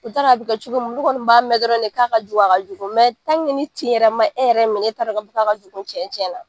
U t'a don a bɛ kɛ cogo mun, olu kɔni kun b'a mɛn dɔrɔn de k'a ka jugu a ka jugu mɛ ni tin yɛrɛ ma e yɛrɛ minɛ, e t'a don k'a ka jugu tiɲɛ tiɲɛna.